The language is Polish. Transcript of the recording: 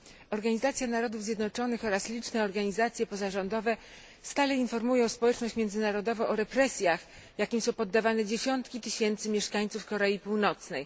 Organizacja Narodów Zjednoczonych oraz liczne organizacje pozarządowe stale informują społeczność międzynarodową o represjach, jakim są poddawane dziesiątki tysięcy mieszkańców Korei Północnej.